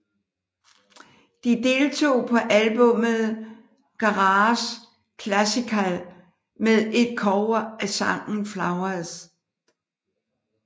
De deltog på albummet Garage Classical med et cover af sangen Flowers